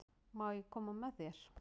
Má ég koma með þér?